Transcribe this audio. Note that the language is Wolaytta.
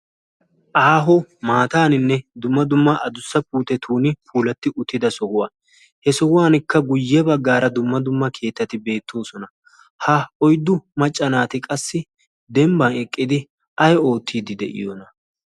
aaho maataaninne dumma dumma adussa puute tuuni pulatti uttida sohuwaa he sohuwankka guyye baggaara dumma dumma keettati beettoosona ha oiddu maccanaati qassi dembban eqqidi ay oottiiddi de'iyoona